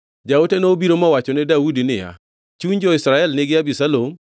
Jaote nobiro mowachone Daudi niya, “Chuny jo-Israel nigi Abisalom.”